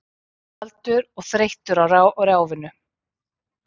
Kaldur og þreyttur á ráfinu.